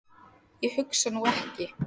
Ég hugsa nú ekki.